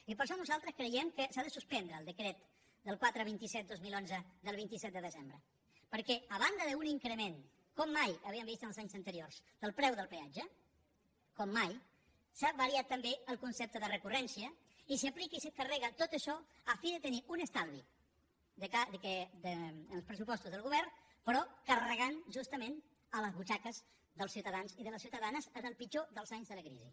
i per això nosaltres creiem que s’ha de suspendre el decret del quatre cents i vint set dos mil onze del vint set de desembre perquè a banda d’un increment com mai havíem vist en els anys anteriors del preu del peatge com mai s’ha variat també el concepte de recurrència i s’hi aplica i s’hi carrega tot això a fi de tenir un estalvi en els pressupostos del govern però carregant justament a les butxaques dels ciutadans i de les ciutadanes en el pitjor dels anys de la crisi